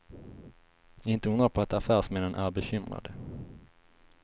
Inte undra på att affärsmännen är bekymrade.